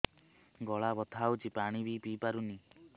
ଗଳା ବଥା ହଉଚି ପାଣି ବି ପିଇ ପାରୁନି